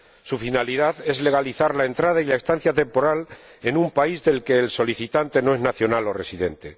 su finalidad es legalizar la entrada y la estancia temporal en un país del que el solicitante no es nacional o residente.